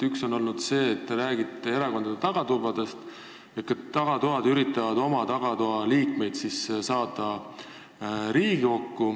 Ühelt poolt te räägite erakondade tagatubadest, kes üritavad oma liikmeid Riigikokku saada.